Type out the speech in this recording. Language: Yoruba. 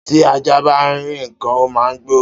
Tí ajá bá rí ǹkan, ó máa gbó